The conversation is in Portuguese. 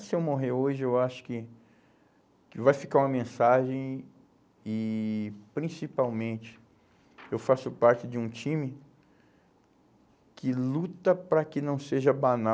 Se eu morrer hoje, eu acho que que vai ficar uma mensagem e, principalmente, eu faço parte de um time que luta para que não seja banal.